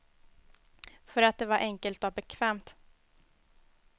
För att det var enkelt och bekvämt.